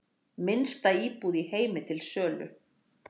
Minnsta íbúð í heimi til sölu